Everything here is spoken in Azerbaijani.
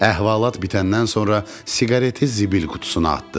Əhvalat bitəndən sonra siqareti zibil qutusuna atdı.